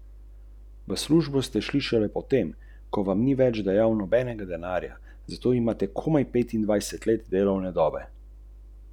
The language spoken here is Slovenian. Srce pogonskega sistema predstavlja močan šestvaljni bencinski motor v kombinaciji z visokozmogljivimi elektromotorji.